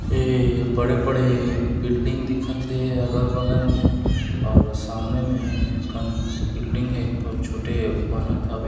एह बड़े-बड़े बिल्डिंग दिखत है अगल-बगल मे और सामने मे क बिल्डिंग है एक तो छोटे बनत हवे--